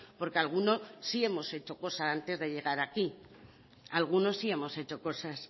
porque algunos sí hemos hecho cosas antes de llegar aquí algunos sí hemos hecho cosas